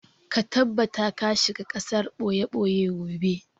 Ka tabbata ka shiga gasar ɓoye-ɓoye gobe!